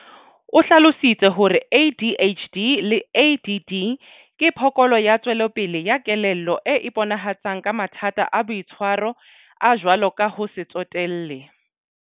O hlalositse hore ADHD le ADD ke phokolo ya tswelopele ya kelello e iponahatsang ka mathata a boitshwaro, a jwalo ka ho se tsotelle.